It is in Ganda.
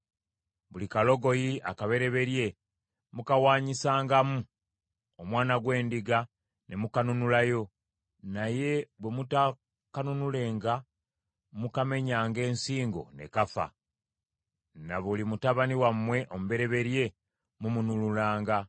Buli kalogoyi akabereberye mukawaanyisangamu omwana gw’endiga ne mukanunulayo, naye bwe mutaakanunulenga mukamenyanga ensingo ne kafa. Ne buli mutabani wammwe omubereberye mumununulanga.